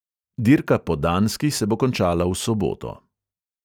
Dirka po danski se bo končala v soboto.